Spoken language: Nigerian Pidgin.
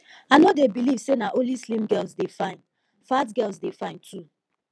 i no dey beliv sey na only slim girls dey fine fat girls dey fine too